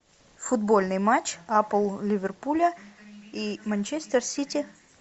футбольный матч апл ливерпуля и манчестер сити